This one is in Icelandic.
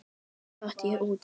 Svo datt ég út af.